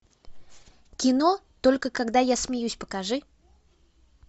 кино только когда я смеюсь покажи